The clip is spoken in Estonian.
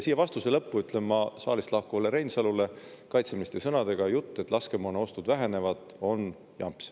Siia vastuse lõppu ütlen ma saalist lahkuvale Reinsalule kaitseministri sõnadega, et jutt, et laskemoonaostud vähenevad, on jamps.